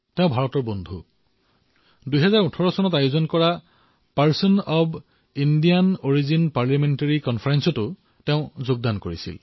তেওঁ ভাৰতৰ মিত্ৰ আৰু ২০১৮ বৰ্ষত আয়োজিত person of Indian origin PIO parliamentary conference তো তেওঁ অংশগ্ৰহণ কৰিছিল